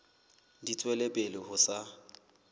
di tswela pele ho sa